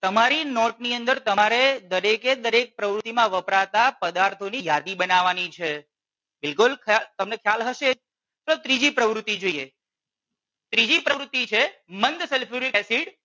તમારી નોટ ની અંદર તમારે દરેકે દરેક પ્રવૃતિ માં વપરાતા પદાર્થો ની યાદી બનાવાની છે. બિલકુલ ખ્યા તમને ખ્યાલ હશે તો ત્રીજી પ્રવૃતિ જોઈએ. ત્રીજી પ્રવૃતિ છે મંદ sulfuric acid